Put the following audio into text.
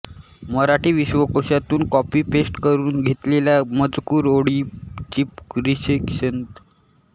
मराठी विश्वकोशातून कॉपीपेस्ट करून घेतलेल्या मजकुर ओळीचीपरिच्छेदाची सीमारेषा समाप्ती रेषा